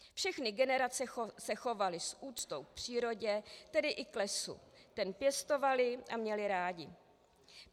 Všechny generace se chovaly s úctou k přírodě, tedy i k lesu, který pěstovaly a měly rády.